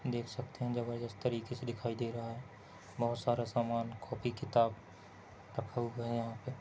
देख सकते है जबरदस्त तरीके से दिखाई दे रहा है बहुत सारा समान कॉपी किताब रखा हुआ यहा पे--